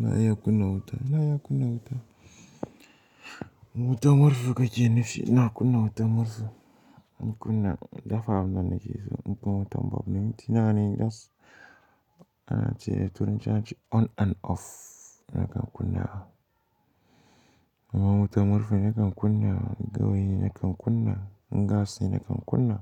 Na iya kunna wuta, na iya kunna wuta. Wuta murhu kake nufi? Ina kunna wuta murhu na kunna, dafa wannan na ke so. Mukan yi wutan bolb. Minti nawa ne da turanci ana ce on and off. Nakan kunna. Kaman wuta murhu nakan kunna, gawayi nakan kunna, in gas ne nakan kunna,